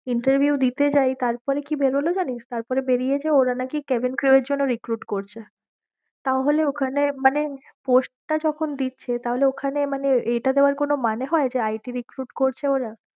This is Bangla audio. Interview দিতে যায়ী তারপরে কিবেরোলো জানিস তারপরে বেরিয়েছে ওরা নাকি Kevin Crew এর জন্যে recruit করছে, তাহলে ওখানে মানে post টা যখন দিচ্ছে তাহলে ঐখানে মানে এইটা দেবার কোনো মানে হয়ে it recruit করছে ওরা।